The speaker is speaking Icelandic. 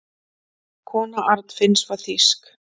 Kona Arnfinns var þýsk.